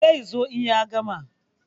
Zai zo in ya gama.